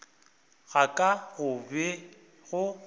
ga ka go be go